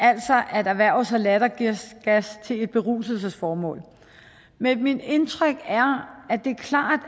altså at erhverve sig lattergas til et beruselsesformål men mit indtryk er at det klart